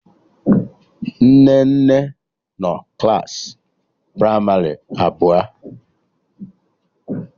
Nnenne nọ klaasị pramarị abụọ